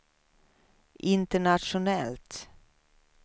internationellt